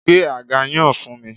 Gbé àga yan fún mi